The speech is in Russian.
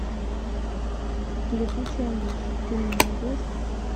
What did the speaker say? летучая мышь ты мне найдешь